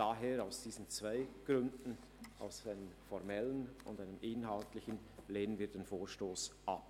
Aus diesen zwei Gründen, einem formellen und einem inhaltlichen, lehnen wir den Vorstoss ab.